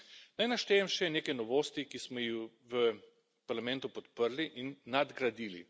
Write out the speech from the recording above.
Naj naštejem še nekaj novosti, ki smo jih v Parlamentu podprli in nadgradili.